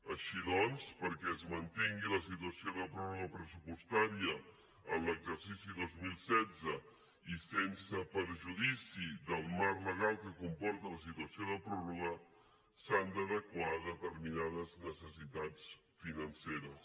així doncs perquè es mantingui la situació de pròrroga pressupostària en l’exercici dos mil setze i sense perjudici del marc legal que comporta una situació de pròrroga s’han d’adequar determinades necessitats financeres